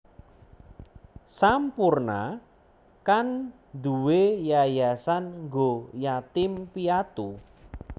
Sampoerna kan nduwe yayasan nggo yatim piatu